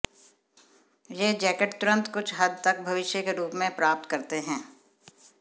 ये जैकेट तुरंत कुछ हद तक भविष्य के रूप में प्राप्त करते हैं